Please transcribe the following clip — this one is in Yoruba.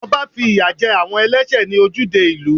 Ọba fi ìyà jẹ àwọn ẹlẹ́sẹ̀ ní ojúde ìlú.